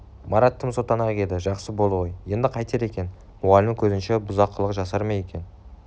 марат тым сотанақ еді жақсы болды ғой енді қайтер екен мұғалімнің көзінше бұзақылық жасар ма екен